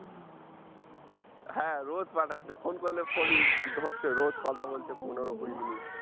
হ্যাঁ রোজ পাঠাচ্ছে phone করলে phone ই ধরছে রোজ কথা বলছে পনেরো কুড়ি minute